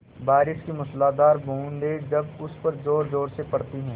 बारिश की मूसलाधार बूँदें जब उस पर ज़ोरज़ोर से पड़ती हैं